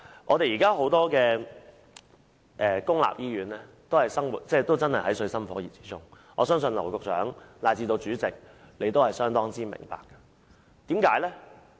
目前，多間公立醫院都水深火熱，我相信劉局長以至主席都相當明白這一點。